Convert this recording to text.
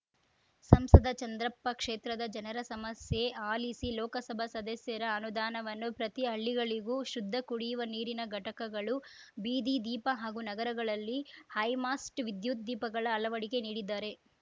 ಸಂಸದ ಚಂದ್ರಪ್ಪ ಕ್ಷೇತ್ರದ ಜನರ ಸಮಸ್ಯೆ ಆಲಿಸಿ ಲೋಕಸಭಾ ಸದಸ್ಯರ ಅನುದಾನವನ್ನು ಪ್ರತಿ ಹಳ್ಳಿಗಳಿಗೂ ಶುದ್ಧ ಕುಡಿಯುವ ನೀರಿನ ಘಟಕಗಳು ಬೀದಿ ದೀಪ ಹಾಗೂ ನಗರಗಳಲ್ಲಿ ಹೈಮಾಸ್ಟ್‌ ವಿದ್ಯುತ್‌ ದೀಪಗಳ ಅಳವಡಿಕೆ ನೀಡಿದ್ದಾರೆ